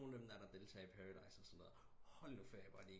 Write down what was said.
Nogen har dem der der deltager i Paradise Hotel og sådan noget hold ferie hvor er de